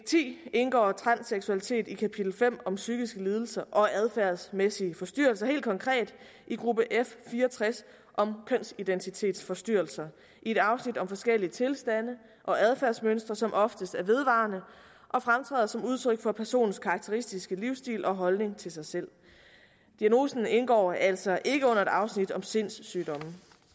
ti indgår transseksualitet i kapital fem om psykiske lidelser og adfærdsmæssige forstyrrelser helt konkret i gruppe f fire og tres om kønsidentitetsforstyrrelser i et afsnit om forskellige tilstande og adfærdsmønstre som oftest er vedvarende og fremtræder som udtryk for personens karakteristiske livsstil og holdning til sig selv diagnosen indgår altså ikke under et afsnit om sindssygdomme